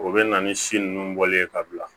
O bɛ na ni si ninnu bɔli ye ka bila